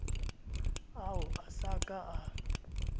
ao a sa ka a